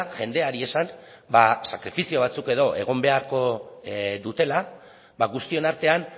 jendeari esan sakrifizio batzuk edo egon beharko dutela guztion artean